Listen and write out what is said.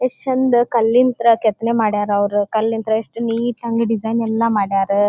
ಎಷ್ಟ್ ಚಂದ್ ಕಲ್ಲಿಂದ ಕೆತ್ತನೆ ಮಾಡಿದರೆ ಅವರು ಕಲ್ಲಿಂದ ಎಷ್ಟು ನೀಟ್ ಡಿಸೈನ್ ಎಲ್ಲ ಮಾಡರ.